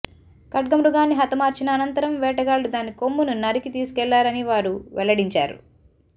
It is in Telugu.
ఖడ్గమృగాన్ని హతమార్చిన అనంతరం వేటగాళ్లు దాని కొమ్మును నరికి తీసుకెళ్లారని వారు వెల్లడించారు